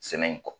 Sɛnɛ in kɔ